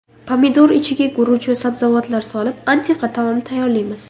Pomidor ichiga guruch va sabzavotlar solib, antiqa taom tayyorlaymiz.